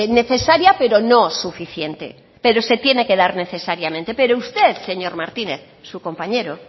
necesaria pero no suficiente pero se tiene que dar necesariamente pero usted señor martínez su compañero